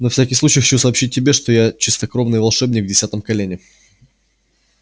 на всякий случай хочу сообщить тебе что я чистокровный волшебник в десятом колене